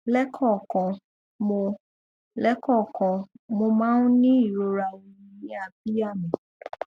lẹẹkọọkan mo lẹẹkọọkan mo máa ń ní ìrora ooru ní abíyá mi